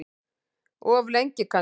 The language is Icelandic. Of lengi kannski.